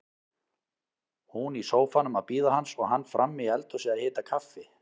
Hún í sófanum að bíða hans og hann frammi í eldhúsi að hita kaffi.